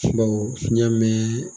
fiɲɛ min bɛ